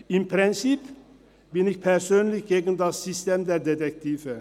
Im Prinzip bin ich persönlich gegen das System der Detektive.